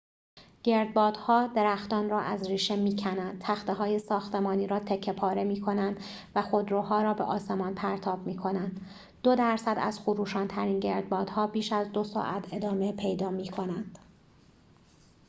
گردبادها درختان را از ریشه می‌کنند تخته‌های ساختمانی را تکه پاره می‌کنند و خودروها را به آسمان پرتاب می‌کنند دو درصد از خروشان‌ترین گردبادها بیش از دو ساعت ادامه پیدا می‌کنند